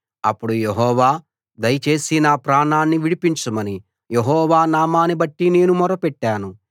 అప్పుడు యెహోవా దయచేసి నా ప్రాణాన్ని విడిపించమని యెహోవా నామాన్నిబట్టి నేను మొర్రపెట్టాను